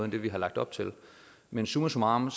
det vi har lagt op til men summa summarum